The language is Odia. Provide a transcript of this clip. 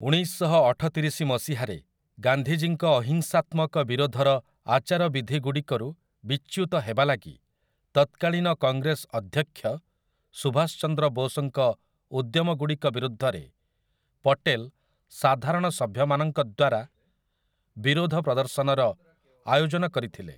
ଉଣେଇଶଶହଅଠତିରିଶି ମସିହାରେ ଗାନ୍ଧୀଜୀଙ୍କ ଅହିଂସାତ୍ମକ ବିରୋଧର ଆଚାରବିଧିଗୁଡ଼ିକରୁ ବିଚ୍ୟୁତ ହେବା ଲାଗି ତତ୍କାଳୀନ କଂଗ୍ରେସ ଅଧ୍ୟକ୍ଷ ସୁଭାଷ ଚନ୍ଦ୍ର ବୋଷ୍‌ଙ୍କ ଉଦ୍ୟମଗୁଡ଼ିକ ବିରୁଦ୍ଧରେ ପଟେଲ୍ ସାଧାରଣ ସଭ୍ୟ ମାନଙ୍କଦ୍ୱାରା ବିରୋଧ ପ୍ରଦର୍ଶନର ଆୟୋଜନ କରିଥିଲେ ।